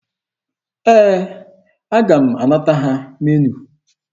Ee, aga m anata ha meniu.